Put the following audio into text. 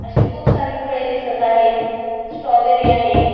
अशी खूप सारी फळे दिसत आहेत स्ट्रॉबेरी आहे.